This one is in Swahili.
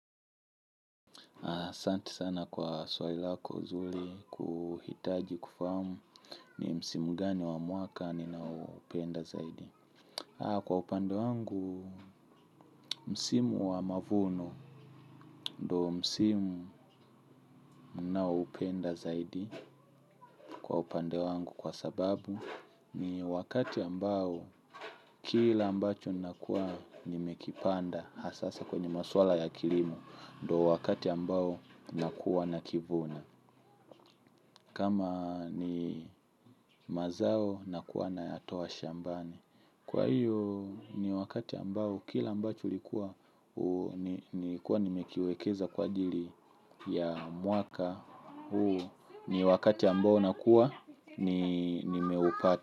Asanti sana kwa swali lako zuli kuhitaji kufahamu ni msimu gani wa mwaka ninaoupenda zaidi. Kwa upande wangu, msimu wa mavuno ndo msimu naoupenda zaidi kwa upande wangu kwa sababu ni wakati ambao kila ambacho ninakuwa nimekipanda hasasa kwenye maswala ya kilimo ndo wakati ambao nakuwa nakivuna. Kama ni mazao nakuwa nayatoa shambani. Kwa hiyo ni wakati ambao kila ambacho nilikuwa nimekiwekeza kwa ajiri ya mwaka huu ni wakati ambao nakua nimeupata.